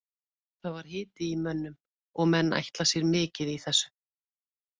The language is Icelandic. Það var hiti í mönnum og menn ætla sér mikið í þessu.